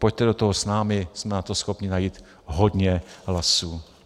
Pojďte do toho s námi, jsme na to schopni najít hodně hlasů.